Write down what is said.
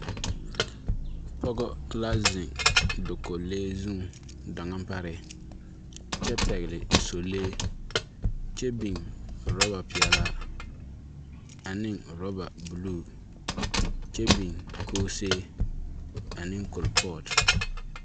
Pɔgɔ la zeŋ dakolee zuŋ daŋa pare, kyɛ pɛgele sɔlee kyɛ biŋ rɔba peɛlaa ane rɔba buluu kyɛ biŋ koosee, ane kolepɔɔt.